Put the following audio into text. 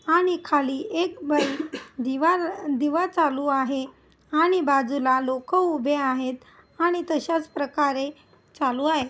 आणि खाली एक दिवा दिवा चालू आहे आणि बाजूला लोक उभे आहेत आणि तश्याच प्रकारे चालू आहे.